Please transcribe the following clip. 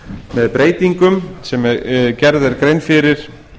með breytingum sem gerð er grein fyrir